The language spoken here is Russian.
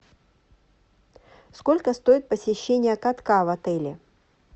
сколько стоит посещение катка в отеле